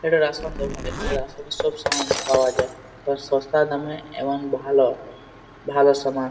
এটা রেশন দোকান। এখানে রেশন সব সামান পাওয়া যায়। সস্তা দামে এবং ভালো ভালো সামান।